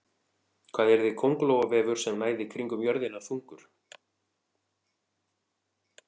Hvað yrði köngulóarvefur sem næði kringum jörðina þungur?